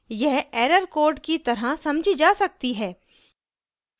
यह error code की तरह समझी जा सकती है